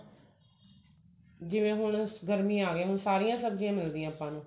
ਜਿਵੇਂ ਹੁਣ ਗਰਮੀਆਂ ਆਗਈਆਂ ਹੁਣ ਸਾਰੀਆਂ ਸਬਜੀਆਂ ਮਿਲਦੀਆਂ ਆਪਾਂ ਨੂੰ